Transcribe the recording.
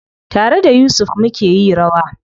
Tare da Yusuf mukeyi rawa.